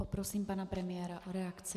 Poprosím pana premiéra o reakci.